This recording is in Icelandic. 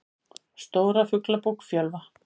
Stóra Fuglabók Fjölva.